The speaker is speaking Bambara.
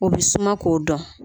O bɛ suma k'o dɔn.